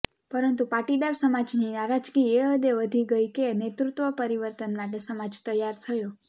પરંતુ પાટીદાર સમાજની નારાજગી એ હદે વધી ગઇ કે નેતૃત્વ પરિવર્તન માટે સમાજ તૈયાર થયો